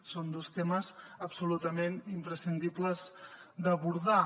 són dos temes absolutament imprescindibles d’abordar